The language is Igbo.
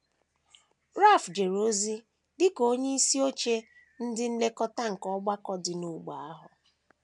Ralph jere ozi dị ka onyeisi oche ndị nlekọta nke ọgbakọ dị n’ógbè ahụ.